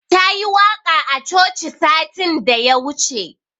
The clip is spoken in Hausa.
Ta yi waƙa a coci satin da ya wuce.